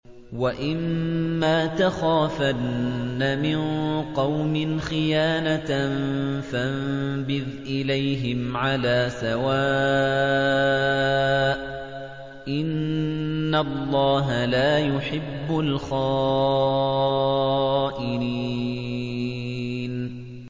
وَإِمَّا تَخَافَنَّ مِن قَوْمٍ خِيَانَةً فَانبِذْ إِلَيْهِمْ عَلَىٰ سَوَاءٍ ۚ إِنَّ اللَّهَ لَا يُحِبُّ الْخَائِنِينَ